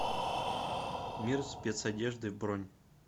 мир спецодежды бронь